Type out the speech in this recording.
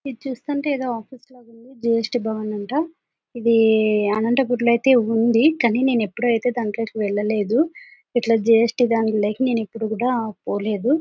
ఇది చూస్తుంటే ఏదో ఆఫీస్ లాగా ఉంది. జి _స్ _టి భవన్ అంటా. ఇది అనంతపురం లో ఐతే ఉంది. కానీ నేను ఎప్పుడు దంట్లోకి వెళ్ళలేదు. ఇట్లా జి _స్ _టి దంట్లోకి నేనెపుడు కూడా పోలేదు.